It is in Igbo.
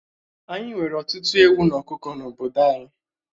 Ányi nwere ọtụtụ ewu na ọkụkọ n'obodo anyị